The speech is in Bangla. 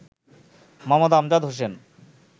মো. আমজাদ হোসেন